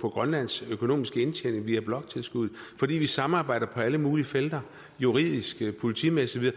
på grønlands økonomiske indtjening via bloktilskuddet og fordi vi samarbejder på alle mulige felter juridisk politimæssigt og